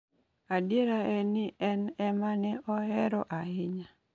Adiera en ni en e ma ne ohero ahinya.